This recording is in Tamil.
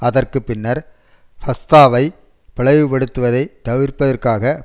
அதற்கு பின்னர் ஃபத்தாவை பிளவு படுத்துவதை தவிர்ப்பதற்காக